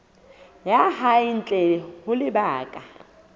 ya hae ntle ho lebaka